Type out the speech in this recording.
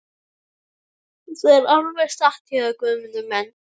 Það er alveg satt hjá þér Guðmundur minn.